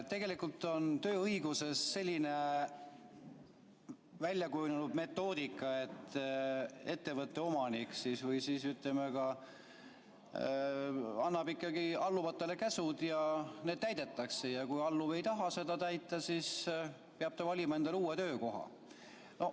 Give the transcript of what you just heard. Tegelikult on tööõiguses selline väljakujunenud metoodika, et ettevõtte omanik annab alluvatele käsud ja need täidetakse, ja kui alluv ei taha neid täita, siis peab ta valima endale uue töökoha.